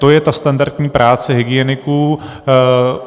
To je ta standardní práce hygieniků.